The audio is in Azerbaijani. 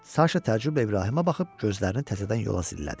Saşa təcrüblə İbrahimə baxıb gözlərini təzədən yola zillədi.